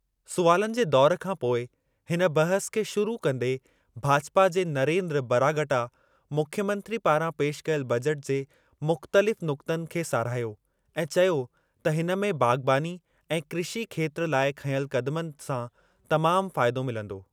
सुवालनि जे दौरु खां पोइ हिन बहसु खे शुरु कंदे भाजपा जे नरेन्द्र बरागटा मुख्यमंत्री पारां पेशि कयल बजेट जे मुख़्तलिफ़ नुक़्तनि खे साराहियो ऐं चयो त हिन में बाग़बानी ऐं कृषी खेत्रु लाइ खंयल क़दमनि सां तमामु फ़ाइदो मिलंदो।